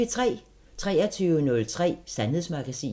23:03: Sandhedsmagasinet